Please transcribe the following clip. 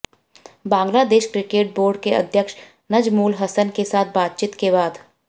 Bangladesh cricket board के अध्यक्ष नजमुल हसन के साथ बातचीत के बाद